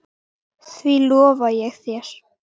Því lofa ég þér